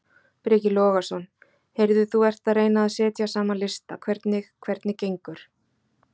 Breki Logason: Heyrðu þú ert að reyna að setja saman lista hvernig hvernig gengur?